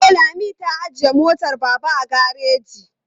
E, Lami ta ajiye motar Baba a gareji.